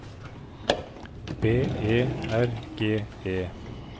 B E R G E